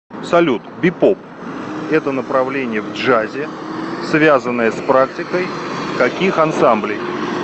салют бипоп это направление в джазе связанное с практикой каких ансамблей